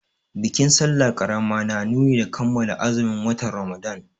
Bikin sallah ƙarama na nuni da kammala azumin watan Ramadana.